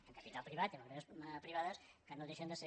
i amb capital privat i amb empreses privades que no deixen de ser